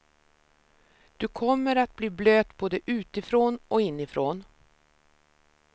Du kommer att bli blöt både utifrån och inifrån.